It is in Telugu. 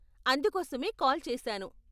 అందుకోసమే కాల్ చేసాను.